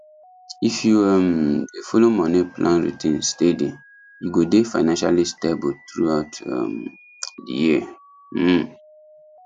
if you um dey follow money plan routine steady you go dey financially stable throughout um the year um